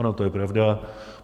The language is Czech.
Ono to je pravda.